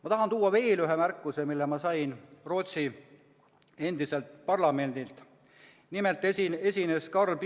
Ma tahan teha veel ühe märkuse, mille kohta ma sain Rootsi endiselt parlamendi.